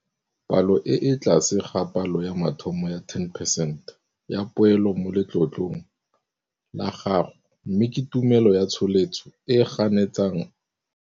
Palo e e tlase ga palo ya mathomo ya 10 percent ya poelo mo letlotlong la gago mme ke tumelo ya tsholetso e e ganetsang.